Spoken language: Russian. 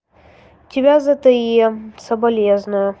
тебя зте соболезную